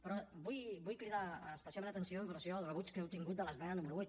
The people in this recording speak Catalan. però vull cridar especialment l’atenció amb relació al rebuig que heu tingut de l’esmena número vuit